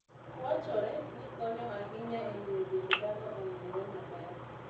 Wachore ni konyo ahinya e miyo dend dhano onenre maber.